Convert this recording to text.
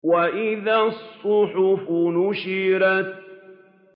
وَإِذَا الصُّحُفُ نُشِرَتْ